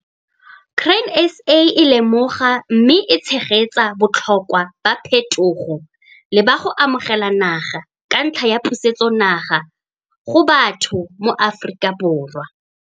Grain SA e lemoga mme e tshegetsa botlhokwa ba phethogo le ba go amogela naga ka ntlha ya pusetsonaga go batho mo Afrikaborwa.